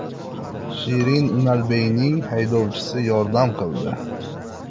Shirin Unalbeyning haydovchisi yordam qildi.